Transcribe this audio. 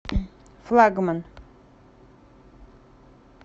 флагман